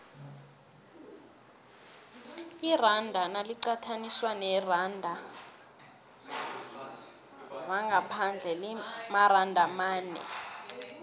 iranda naliqathaniswa neenarha zangaphandle limaranda amane